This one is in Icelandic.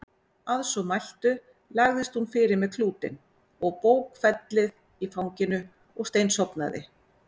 Að svo mæltu lagðist hún fyrir með klútinn og bókfellið í fanginu og steinsofnaði.